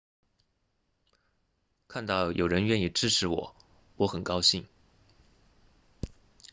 看到有人愿意支持我我很高兴